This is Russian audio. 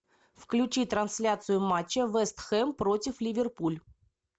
включи трансляцию матча вест хэм против ливерпуль